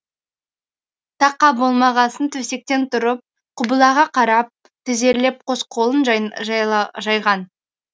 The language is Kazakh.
тақа болмағасын төсектен тұрып құбылаға қарап тізерлеп қос қолын жайған